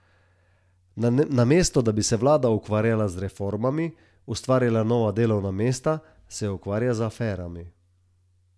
Namesto da bi se vlada ukvarjala z reformami, ustvarjala nova delovna mesta, se ukvarja z aferami.